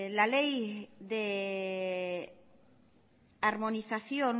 la ley de armonización